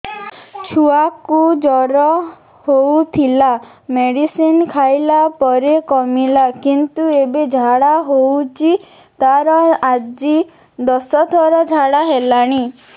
ଛୁଆ କୁ ଜର ହଉଥିଲା ମେଡିସିନ ଖାଇଲା ପରେ କମିଲା କିନ୍ତୁ ଏବେ ଝାଡା ହଉଚି ତାର ଆଜି ଦଶ ଥର ଝାଡା କଲାଣି